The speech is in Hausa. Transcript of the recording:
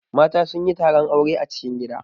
Mata sun yi taron aure a cikin gida.